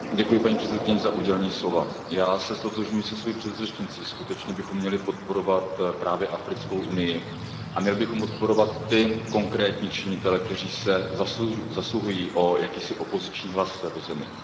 Paní předsedající, já se ztotožňuji se svou předřečnicí, skutečně bychom měli podporovat právě Africkou unii a měli bychom podporovat ty konkrétní činitele, kteří se zasluhují o jakýsi opoziční hlas v této zemi.